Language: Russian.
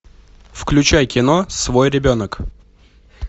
включай кино свой ребенок